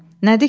Nədir ki?